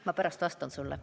Ma pärast vastan sulle.